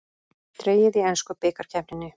Dregið í ensku bikarkeppninni